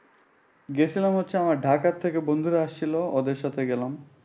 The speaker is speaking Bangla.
গেছিলাম হচ্ছে আমার ঢাকা থেকে বন্ধুরা আসছিল ওদের সাথে গেলাম।